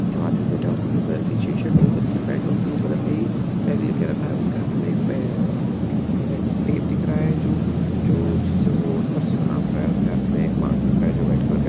जो आदमी बैठा है उसने ब्लू कलर की टीशर्ट ब्लू कलर की पैंट और ब्लू कलर का ही बैग लेकर रखा है उसके हाथ मे एक बैग नई टेप दिख रहा है जो जिससे वो उस फरसी को नाप रहा है और उसके हाथ मे एक मास्क दिखा रहा है जो व्हाइट कलर का--